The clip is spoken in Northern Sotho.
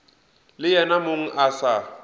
le yena mong a sa